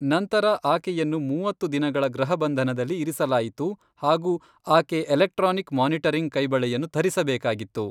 ನಂತರ ಆಕೆಯನ್ನು ಮೂವತ್ತು ದಿನಗಳ ಗೃಹಬಂಧನದಲ್ಲಿ ಇರಿಸಲಾಯಿತು ಹಾಗೂ ಆಕೆ ಎಲೆಕ್ಟ್ರಾನಿಕ್ ಮಾನಿಟರಿಂಗ್ ಕೈಬಳೆಯನ್ನು ಧರಿಸಬೇಕಾಗಿತ್ತು.